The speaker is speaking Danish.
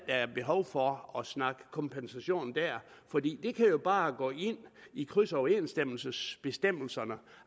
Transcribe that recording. er behov for at snakke kompensation fordi det jo bare kan gå ind i krydsoverensstemmelsesbestemmelserne